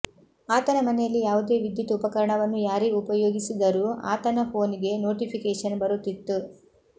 ಆತನ ಮನೆಯಲ್ಲಿ ಯಾವುದೇ ವಿದ್ಯುತ್ ಉಪಕರಣವನ್ನು ಯಾರೇ ಉಪಯೋಗಿಸಿದರೂ ಆತನ ಫೋನಿಗೆ ನೊಟಿಫಿಕೇಶನ್ ಬರುತ್ತಿತ್ತು